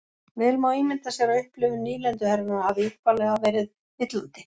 Vel má ímynda sér að upplifun nýlenduherranna hafi upprunalega verið villandi.